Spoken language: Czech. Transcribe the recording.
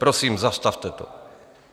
Prosím, zastavte to.